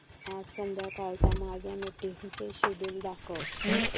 आज संध्याकाळच्या माझ्या मीटिंग्सचे शेड्यूल दाखव